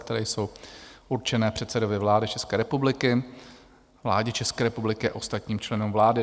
které jsou určené předsedovi vlády České republiky, vládě České republiky a ostatním členům vlády.